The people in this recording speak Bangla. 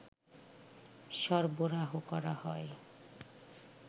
সরবরাহ করা হয়